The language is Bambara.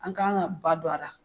An kan ka ba don a la